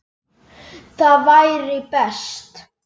Það væri best.